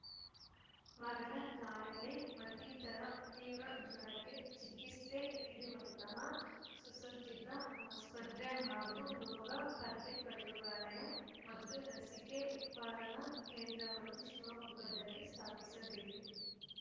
ಮಗನ ಕಾಯಿಲೆ ಮತ್ತಿತರೆ ತೀವ್ರ ಜ್ವರಕ್ಕೆ ಚಿಕಿತ್ಸೆ ನೀಡುವಂತಹ ಸುಸಜ್ಜಿತ ಆಸ್ಪತ್ರೆ ಹಾಗೂ ರೋಗಪತ್ತೆ ಪ್ರಯೋಗಾಲಯ ಮತ್ತು ಲಸಿಕೆ ಉತ್ಪಾದನಾ ಕೇಂದ್ರವನ್ನು ಶಿವಮೊಗ್ಗದಲ್ಲಿ ಸ್ಥಾಪಿಸಬೇಕು